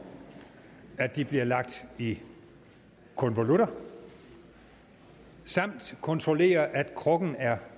at de bliver lagt i konvolutter samt kontrollere at krukken er